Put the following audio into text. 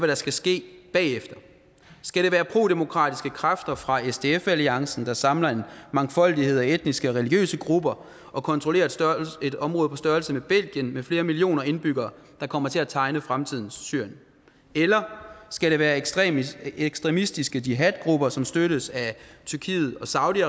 der skal ske bagefter skal det være prodemokratiske kræfter fra sdf alliancen der samler en mangfoldighed af etniske og religiøse grupper og kontrollerer et område på størrelse med belgien med flere millioner indbyggere der kommer til at tegne fremtidens syrien eller skal det være ekstremistiske ekstremistiske jihadgrupper som støttes af tyrkiet og saudi